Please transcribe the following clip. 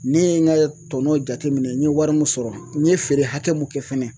Ne ye n ka tɔnɔn jate minɛ n ye wari mun sɔrɔ n ye feere hakɛ mun kɛ fɛnɛ